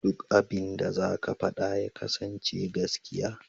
Duk abinda za ka faɗa ya kasance gaskiya.